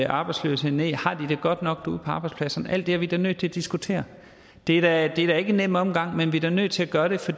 arbejdsløshed ned har de det godt nok ude på arbejdspladserne alt det er vi da nødt til at diskutere det er da ikke en nem omgang men vi er da nødt til at gøre det for